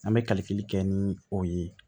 An bɛ kaliki kɛ ni o ye